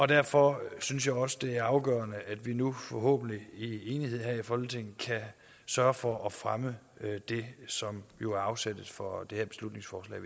derfor synes jeg også det er afgørende at vi nu forhåbentlig i enighed her i folketinget kan sørge for at fremme det som jo er afsættet for det her beslutningsforslag